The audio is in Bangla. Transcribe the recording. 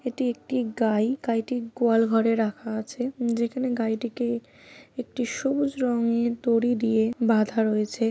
এটি একটি গাই। গাইটি গোয়াল ঘরে রাখা আছে উম যেখানে গাইটিকে একটি সবুজ রঙের দড়ি দিয়ে বাঁধা রয়েছে।